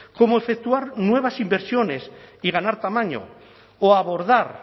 como efectuar nuevas inversiones y ganar tamaño o abordar